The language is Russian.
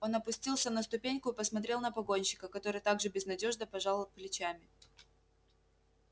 он опустился на ступеньку и посмотрел на погонщика который так же безнадёжно пожал плечами